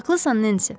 Haqlısan, Nensi.